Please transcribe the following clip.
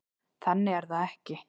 Þannig er það ekki.